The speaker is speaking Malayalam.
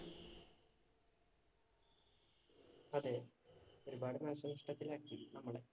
അതെ, ഒരുപാട് നാശനഷ്ടത്തിലാക്കി നമ്മളെ.